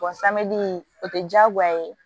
samiyɛji o tɛ diyagoya ye